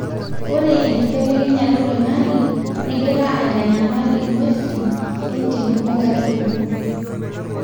ore enkibelekenyata oloingange nengira aitanyamal ingwesin entim onkaitubulu